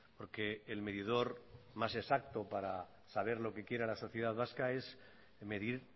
porque el medidor más exacto para saber lo que quiera la sociedad vasca es medir